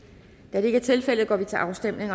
da det ikke er tilfældet går vi til afstemning